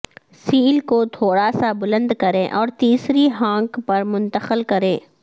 cell کو تھوڑا سا بلند کریں اور تیسری ہانک پر منتقل کریں